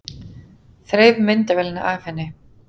Þreif myndavélina af henni.